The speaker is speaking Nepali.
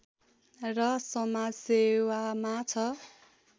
र समाजसेवामा छ